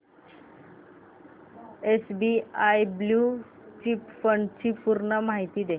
SBI blue chip fund ची पूर्ण माहिती दे